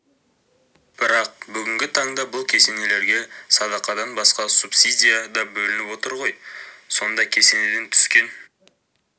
бірақ бүгінгі таңда бұл кесенелерге садақадан басқа субсидия да бөлініп отыр ғой сонда кесенеден түскен